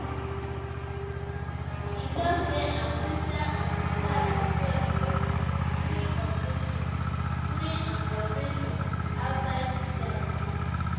e tok say im sister im sister bin pray di whole time during operation during im operation outside di theatre.